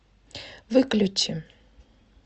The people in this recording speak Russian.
выключи